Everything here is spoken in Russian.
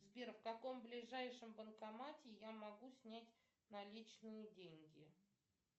сбер в каком ближайшем банкомате я могу снять наличные деньги